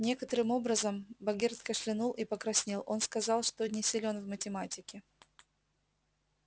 некоторым образом богерт кашлянул и покраснел он сказал что не силен в математике